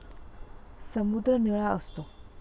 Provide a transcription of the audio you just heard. समुद्र निळा असतो.